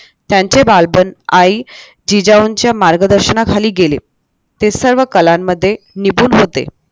त्यांचे बालपण आई जिजाऊंच्या मार्गदर्शनाखाली गेले ते सर्व कलांमध्ये निपुण होते.